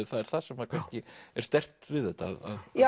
það er það sem er kannski sterkt við þetta